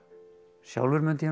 sjálfur mundi ég nú